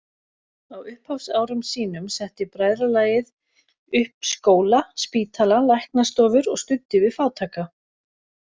Á upphafsárum sínum setti bræðralagið upp skóla, spítala, læknastofur og studdi við fátæka.